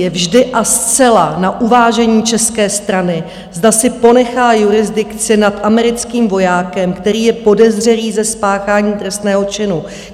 Je vždy a zcela na uvážení české strany, zda si ponechá jurisdikci nad americkým vojákem, který je podezřelý ze spáchání trestného činu.